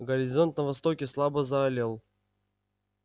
горизонт на востоке слабо заалел